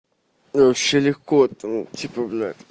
вообще легко там типа бля